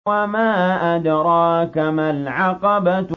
وَمَا أَدْرَاكَ مَا الْعَقَبَةُ